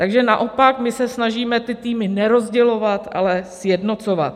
Takže naopak my se snažíme ty týmy nerozdělovat, ale sjednocovat.